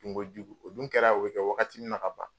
Kojugu o dun kɛra o be kɛ wagati min na ka ban